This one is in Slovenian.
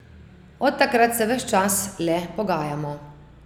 Od takrat se ves čas le pogajamo.